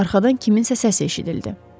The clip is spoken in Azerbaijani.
Arxadan kiminsə səsi eşidildi.